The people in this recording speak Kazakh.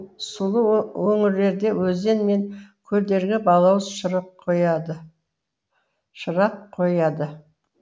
сулы өңірлерде өзен мен көлдерге балауыз шырық қояды